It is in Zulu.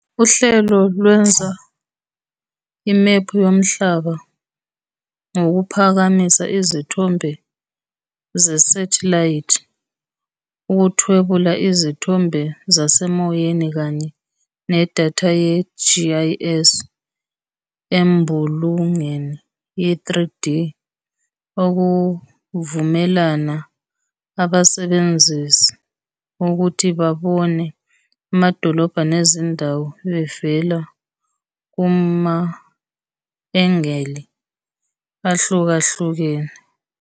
Uhlelo lwenza imephu yoMhlaba ngokuphakamisa izithombe zesathelayithi, ukuthwebula izithombe zasemoyeni, kanye nedatha ye-GIS embulungeni ye-3D, okuvumela abasebenzisi ukuthi babone amadolobha nezindawo bevela kuma-engeli ahlukahlukene.